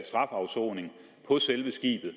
strafafsoning på selve skibet